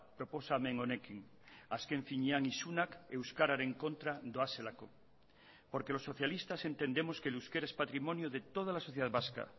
proposamen honekin azken finean isunak euskararen kontra doazelako porque los socialistas entendemos que el euskera es patrimonio de toda la sociedad vasca